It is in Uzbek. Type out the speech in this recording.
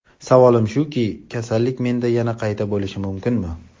Savolim shuki, kasallik menda yana qayta bo‘lishi mumkinmi?